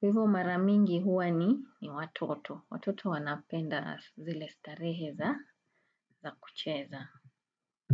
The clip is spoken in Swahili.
Kwa hivyo mara mingi huwa ni watoto. Watoto wanapenda zile starehe za kucheza.